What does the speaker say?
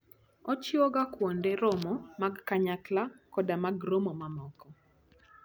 Ochiwoga kuonde romo mag kanyakla koda mag romo mamoko.